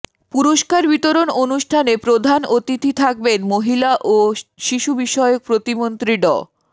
পুরস্কার বিতরণ অনুষ্ঠানে প্রধান অতিথি থাকবেন মহিলা ও শিশু বিষয়ক প্রতিমন্ত্রী ড